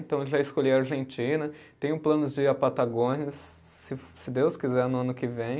Então, eu já escolhi a Argentina, tenho planos de ir à Patagônia, se fo, se Deus quiser, no ano que vem.